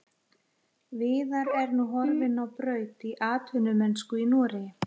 Viðar er nú horfinn á braut í atvinnumennsku í Noregi.